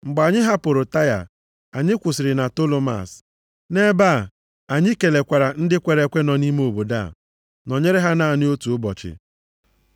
Mgbe anyị hapụrụ Taịa, anyị kwụsịrị na Tolomas. Nʼebe a anyị kelekwara ndị kwere ekwe nọ nʼime obodo a, nọnyere ha naanị otu ụbọchị.